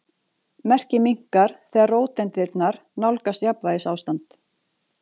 Merkið minnkar þegar róteindirnar nálgast jafnvægisástand.